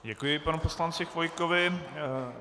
Děkuji panu poslanci Chvojkovi.